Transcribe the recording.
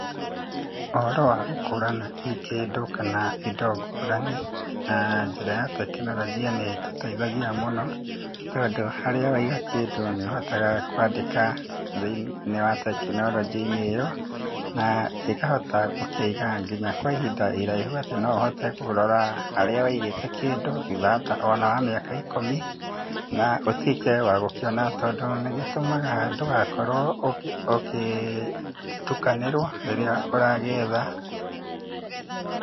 Ũhoro wa gũkũrana hihi kĩndũ kana indo ngũrani na njĩra ya tekinoronjia nĩ ĩtũteithagia mũno tondũ harĩa waiga kĩndũ nĩ ũhotaga kwandĩka thĩ-inĩ wa tekinoronjĩ-inĩ ĩyo, na ĩkahota gũkĩiga nginya kwa ihinda iraihu atĩ no ũhote kũrora harĩa waigĩte kĩndũ thutha wa ta o na mĩaka ikũmi, na ũtuĩke wa gũkĩona tondũ nĩ gĩtũmaga ndũgakorwo ũgĩtukanĩrwo rĩrĩa ũragĩetha.